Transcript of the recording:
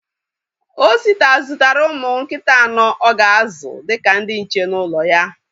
Osita zụtara ụmụ nkịta anọ o ga-azụ dịka ndị nche n'ụlọ ya